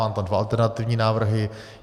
Mám tam dva alternativní návrhy.